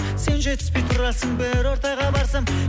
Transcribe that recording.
сен жетіспей тұрасың бір ортаға барсам